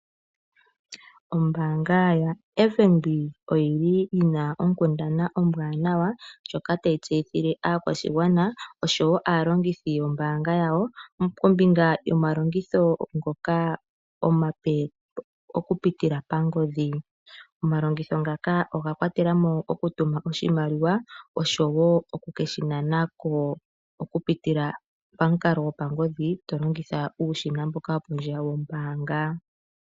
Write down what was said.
Ombanga yotango yopashigwana oyili yina onkundana ombwanawa, ndjoka tayi tseyithile aakwashigwana oshowo aalongithi yombanga yawo. Kombinga yoma longitho ngoka omape oku pitila pangodhi. Omalongitho ngaaka oga kwatela mo oku tuma oshimaliwa oshowo oku keshi nana ko, oku pitila pamukalo gopangodhi to longi uushina mboka wopondje yombanga.